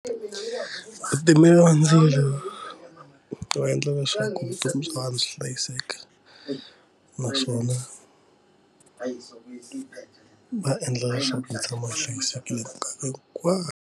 Vatimeli va ndzilo va endla leswaku vutomi bya vana swi hlayiseke naswona va endla leswaku va tshama va hlayisekile minkarhi hinkwayo.